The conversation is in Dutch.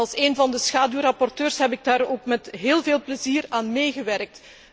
Als een van de schaduwrapporteurs heb ik daar ook met heel veel plezier aan meegewerkt.